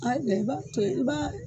A ye bɛn, ka b'a